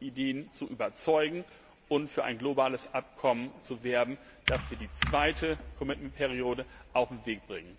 Ideen zu überzeugen und für ein globales Abkommen zu werben, dass wir die zweite Commitment Periode auf den Weg bringen.